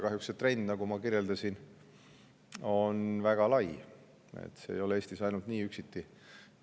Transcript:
Kahjuks on see trend, nagu ma kirjeldasin, väga lai, see ei ole üksnes Eestis nii.